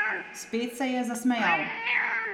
Spet se je zasmejal.